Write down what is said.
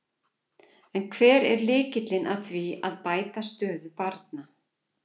En hver er lykillinn að því að bæta stöðu barna?